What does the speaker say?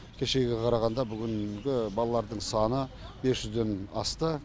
кешегіге қарағанда бүгінгі балалардың саны бес жүзден асты